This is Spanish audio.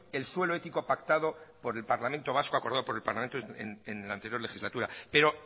el suelo ético pactado por el parlamento vasco acordado por el parlamento en la anterior legislatura pero